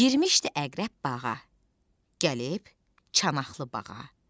Girmişdi əqrəb bağa, gəlib çanaqlı bağa.